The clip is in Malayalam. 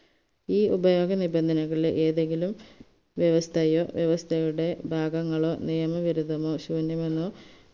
ഈ ഉപയോഗനിബന്ധനകളിൽ ഏതെങ്കിലും വ്യവസ്ഥയോ വ്യവസ്ഥയുടെ ഭാഗങ്ങളോ നിയമ വിരുദ്ധമോ ശൂന്യമെന്നോ